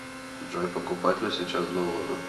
джой покупать ли сейчас доллары